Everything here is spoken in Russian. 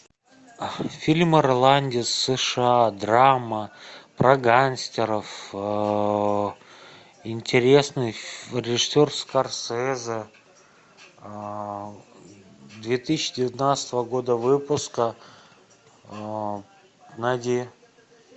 фильм ирландец сша драма про гангстеров интересный режиссер скорсезе две тысячи девятнадцатого года выпуска найди